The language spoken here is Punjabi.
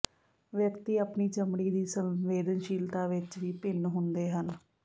ਵਿਅਕਤੀ ਆਪਣੀ ਚਮੜੀ ਦੀ ਸੰਵੇਦਨਸ਼ੀਲਤਾ ਵਿਚ ਵੀ ਭਿੰਨ ਹੁੰਦੇ ਹਨ